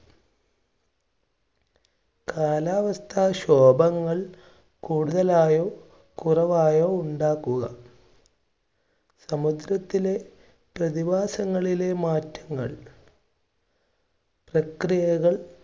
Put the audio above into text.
കാലാവസ്ഥാ ശോഭങ്ങൾ കൂടുതലായോ, കുറവായോ ഉണ്ടാക്കുക സമുദ്രത്തിലെ പ്രതിഭാസങ്ങളിലെ മാറ്റങ്ങൾ പ്രക്രിയകൾ